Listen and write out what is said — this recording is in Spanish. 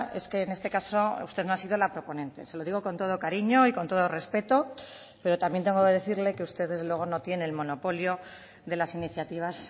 es que en este caso usted no ha sido la proponente se lo digo con todo el cariño y con todo respeto pero también tengo que decirle que usted desde luego no tiene el monopolio de las iniciativas